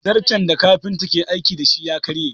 Zarton da kafinta yake aiki da shi ya karye